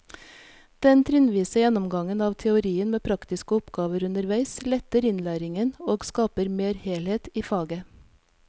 Den trinnvise gjennomgangen av teorien med praktiske oppgaver underveis letter innlæringen og skaper mer helhet i faget.